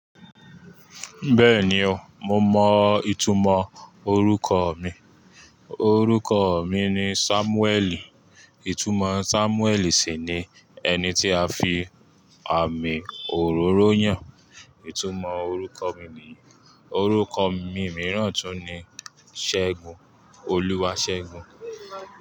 Bẹ́ẹ̀ni o, mo mọ ìtumọ̀ orúkọ mi. Orúkọ mi ni Sámúẹ́ẹ̀lì. Ìtumọ̀ Sámúẹ́ẹ̀lì sì ni ẹni tí a fi àmì òróró yàn. Ìtumọ̀ orúkọ mi ní, orúkọ mi mìíràn tún ni Ṣẹ́gun, Olúwaṣẹ́gun.